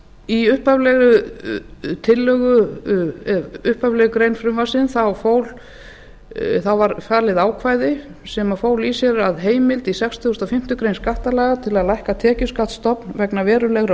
í upphaflegri grein frumvarpsins var falið ákvæði sem fól í sér að heimild í sextíu og fimm greinar skattalaga til að lækka tekjuskattsstofn vegna verulegra